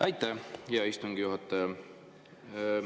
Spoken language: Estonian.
Aitäh, hea istungi juhataja!